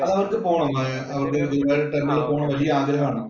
അത് അവര്‍ക്ക് പോണം. അവര്‍ക്ക് ഗുരുവായൂർ ടെമ്പിളില്‍ പോകണം എന്ന് വലിയ ആഗ്രഹം ആണ്.